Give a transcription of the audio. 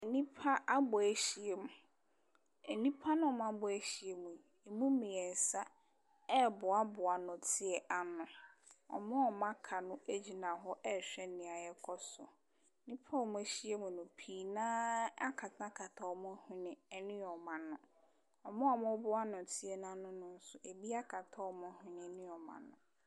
Nnipa abɔ ahyiam. Nnipa na ɔmo abɔ ahyiam no, emu mmiɛnsa ɛboa boa nnɛteɛ ano. Ɔmo a ɔmo aka no egyina hɔ ɛhwɛ nea ɛkɔ so. Nnipa a ɔmo ahyiam no, pii naa akata ɔmo hwene ɛne ɔmo ano. Ɔmo a ɔmo boa nnɔteɛ n'ano nso, ebi akata ɔmo hwene ne ɔmo ano.